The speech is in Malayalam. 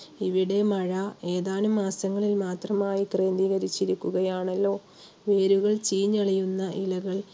ഇവിടെ മഴ ഏതാനം മാസങ്ങളിൽ മാത്രമായി ക്രമീകരിച്ചിരിക്കുകയാണല്ലോ. വേരുകൾ ചീഞ്ഞളിയുന്ന ഇലകൾ